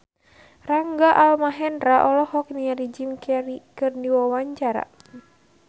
Rangga Almahendra olohok ningali Jim Carey keur diwawancara